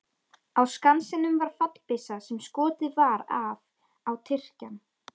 Á Skansinum var fallbyssa sem skotið var af á Tyrkjann.